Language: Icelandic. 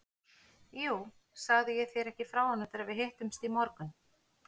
Jú, sagði ég þér ekki frá honum þegar við hittumst í morgun?